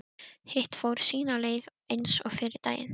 Hitt fór sína leið eins og fyrri daginn.